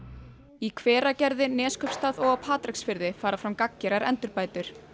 í Hveragerði Neskaupstað og á Patreksfirði fara fram gagngerar endurbætur